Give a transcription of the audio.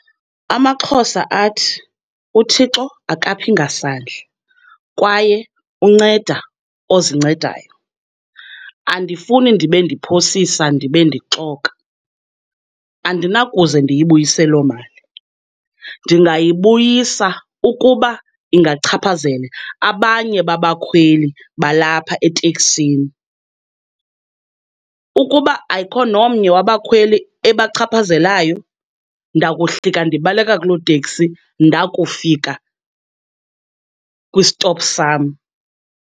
AmaXhosa athi uThixo akaphi kasandla kwaye unceda ozincedayo. Andifuni ndibe ndiphosisa ndibe ndixoka, andinakuze ndiyibuyise loo mali. Ndingayibuyisa ukuba ingachaphazela abanye babakhweli balapha eteksini. Ukuba ayikho nomnye wabakhweli ebachaphazelayo ndakuhlika ndibaleka kuloo teksi ndakufika kwisitopu sam.